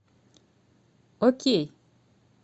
окей